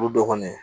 Olu dɔ kɔni